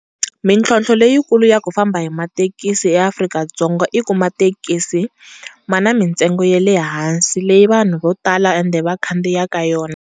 Mitlhotlho le yi kulu ya ku famba hi mathekisi ya Afrika-Dzonga i ku mathekisi ma na mi ntsengo ya le hansi leyi vanhu vo tala ende va khandziyaka yona.